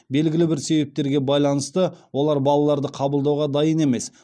белгілі бір себептерге байланысты олар балаларды қабылдауға дайын емес